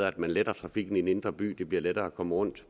at man letter trafikken i den indre by det bliver lettere at komme rundt